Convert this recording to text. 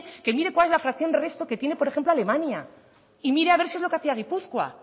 que mire cuál es la fracción resto por ejemplo que tiene alemania y mira a ver si es lo que hacía gipuzkoa